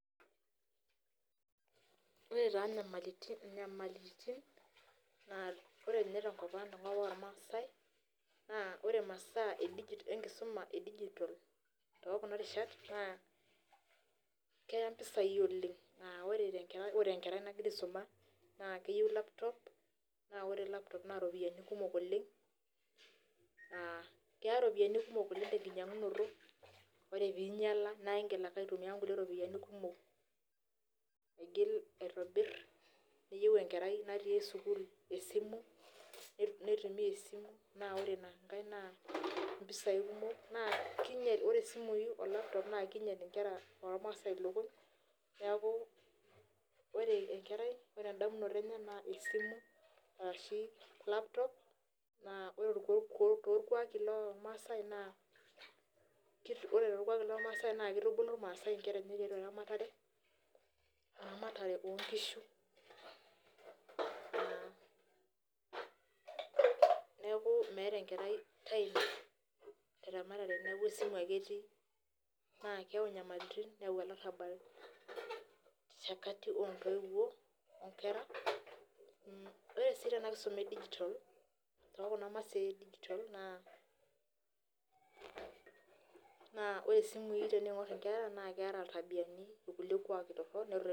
Ore taa nyamalitin, ore nye tenkop ang' tenkop ormaasai, naa ore masaa enkisuma edijitol tokuna rishat, naa keya mpisai oleng. Ah ore tenkerai nagira aisuma, naa keyieu laptop, na ore laptop na ropiyiani kumok oleng, naa keya ropiyiani kumok oleng tenkinyang'unoto. Ore pinyala, na igil ake aitumia nkulie ropiyiani kumok aigil aitobir. Neyieu enkerai natii sukuul esimu, neitumia esimu, na ore inankae, naa impisai kumok, naa kinyel, ore isimui o laptop na kinyel inkera ormaasai ilukuny, neeku ore enkerai, ore endamunoto enye naa esimu, arashi laptop, naa ore torkuaki lormasai naa, ore torkuaki lormasai naa kitubulu irmaasai inkera enye tiatua eramatare, eramatare onkishu. Neeku meeta enkerai time teramatare neeku esimu ake etii, na keeu nyamalitin neu olarrabal te kati ontoiwuo, onkera. Ore si tena kisuma edijitol, tokuna masaa edijitol naa, naa ore simui teniing'or inkera, naa keeta iltabiani irkulie kuaki torrok